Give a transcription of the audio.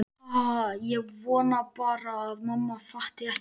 Ha ha ha- ég vona bara að mamma fatti ekki.